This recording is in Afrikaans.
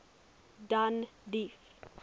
danbrief